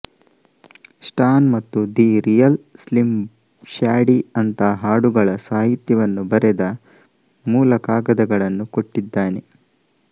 ಸ್ಟಾನ್ ಮತ್ತು the real Slim Shady ಅಂಥ ಹಾಡುಗಳ ಸಾಹಿತ್ಯವನ್ನು ಬರೆದ ಮೂಲ ಕಾಗದಗಳನ್ನು ಕೊಟ್ಟಿದ್ದಾನೆ